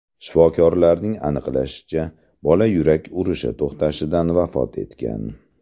Shifokorlarning aniqlashicha, bola yurak urishi to‘xtashidan vafot etgan.